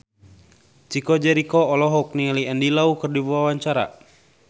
Chico Jericho olohok ningali Andy Lau keur diwawancara